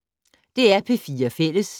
DR P4 Fælles